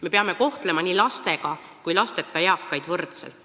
Me peame kohtlema lastega ja lasteta eakaid võrdselt.